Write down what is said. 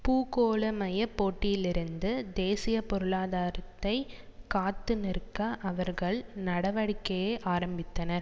பூகோளமய போட்டியிலிருந்து தேசிய பொருளாதாரத்தை காத்து நிற்க அவர்கள் நடவடிக்கையை ஆரம்பித்தனர்